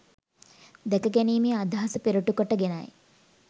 දැකගැනීමේ අදහස පෙරටු කොට ගෙනයි